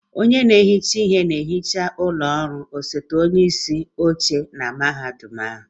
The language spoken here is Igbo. Onye na-ehicha ihe ọ na-ehicha ụlọ ọrụ osote onyeisi oche mahadum ahụ?